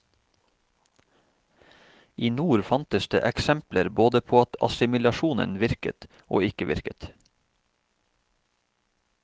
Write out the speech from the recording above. I nord fantes det eksempler både på at assimilasjonen virket, og ikke virket.